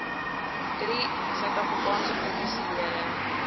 drie sap lede